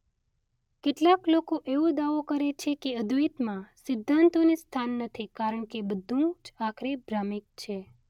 કેટલાક લોકો એવો દાવો કરે છે કે અદ્વૈતમાં સિદ્ધાંતોને સ્થાન નથી કારણ કે બધું જ આખરે ભ્રામિક છે.